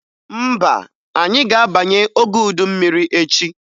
Mba, anyị ga-abanye oge udu mmiri echi